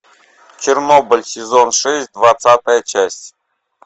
чернобыль сезон шесть двадцатая часть